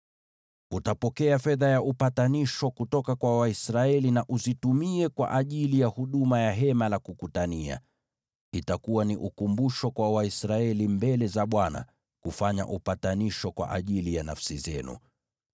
Utapokea fedha ya upatanisho kutoka kwa Waisraeli na uzitumie kwa ajili ya huduma ya Hema la Kukutania. Itakuwa ni ukumbusho kwa Waisraeli mbele za Bwana kufanya upatanisho kwa ajili ya nafsi zenu.”